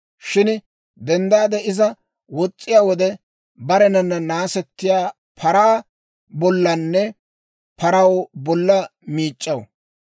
Shin denddaade iza wos's'iyaa wode, barenanna naasettiyaa paraa bollanne paraw bolla miic'c'aw.